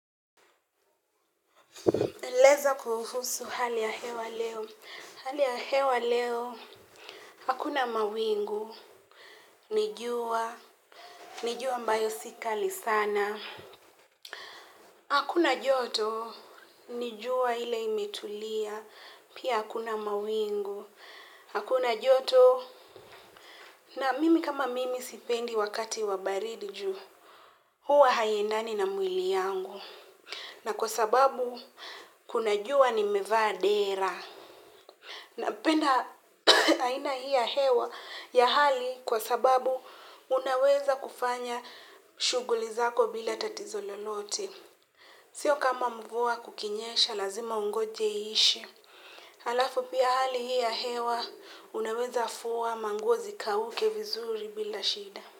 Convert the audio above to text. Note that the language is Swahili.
Eleza kuhusu hali ya hewa leo. Hali ya hewa leo. Hakuna mawingu. Ni jua. Ni jua ambayo si kali sana. Hakuna joto. Ni jua ile imetulia. Pia hakuna mawingu. Hakuna joto. Na mimi kama mimi sipendi wakati wa baridi ju. Huwa haiendani na mwili yangu. Na kwa sababu. Kuna jua nimevaa dera. Napenda aina hii ya hewa ya hali kwa sababu unaweza kufanya shughuli zako bila tatizo lolote. Sio kama mvua kukinyesha lazima ungoje ishe. Halafu pia hali hii ya hewa unaweza fuwa manguo zikauke vizuri bila shida.